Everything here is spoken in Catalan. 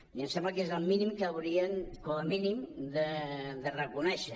i em sembla que és el mínim que haurien com a mínim de reconèixer